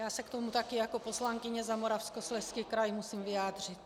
Já se k tomu také jako poslankyně za Moravskoslezský kraj musím vyjádřit.